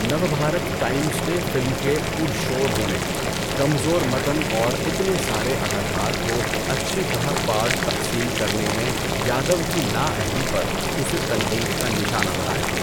Navbharat Times نے film کے پُر شور ہونے، کمزور متن اور اتنے سارے اداکار کو اچھی طرح پارٹ تقسیم کرنے میں یادو کی نااہلی پر اسے تنقید کا نشانہ بنایا۔